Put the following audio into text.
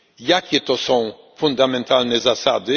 Jakie to są fundamentalne zasady?